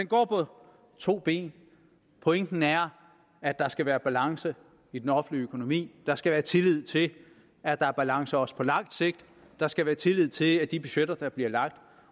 går på to ben pointen er at der skal være balance i den offentlige økonomi der skal være tillid til at der er balance også på lang sigt der skal være tillid til at de budgetter der bliver lagt